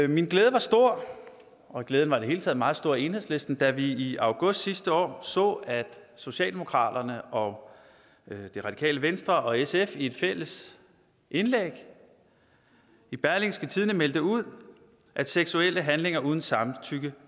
min glæde var stor og glæden var i det hele taget meget stor i enhedslisten da vi i august sidste år så at socialdemokraterne og radikale venstre og sf i et fælles indlæg i berlingske meldte ud at seksuelle handlinger uden samtykke